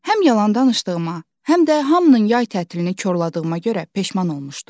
Həm yalan danışdığıma, həm də hamının yay tətilini korladığıma görə peşman olmuşdum.